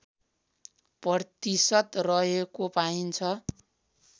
प्रतिशत रहेको पाइन्छ